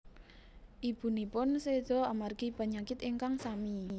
Ibunipun seda amargi penyakit ingkang sami